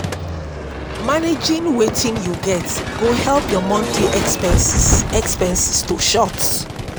managing wetin yu get go help yur monthly expenses expenses to short